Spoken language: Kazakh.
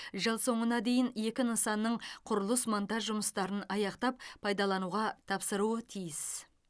жыл соңына дейін екі нысанның құрылыс монтаж жұмыстарын аяқтап пайдалануға тапсыруы тиіс